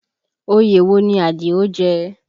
Oyè wo ni Àdìó jẹ?